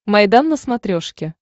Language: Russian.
майдан на смотрешке